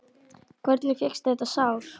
Hvernig fékkstu þetta sár?